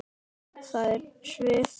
Þær svifu.